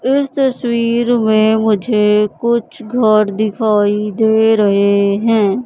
इस तस्वीर में मुझे कुछ घर दिखाई दे रहे हैं।